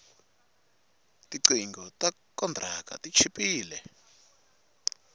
tinqingho ta kontraka ti chipile